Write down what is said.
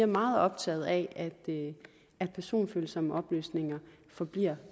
meget optaget af at personfølsomme oplysninger forbliver